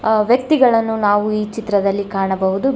ವ್ಯಕ್ತಿಗಳನ್ನು ನಾವು ಈ ಚಿತ್ರದಲ್ಲಿ ಕಾಣಬಹುದು.